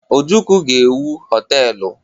Ojukwu ga-ewu họtelụ.